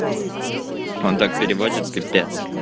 он так переводит пипец